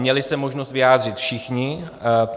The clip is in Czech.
Měli se možnost vyjádřit všichni.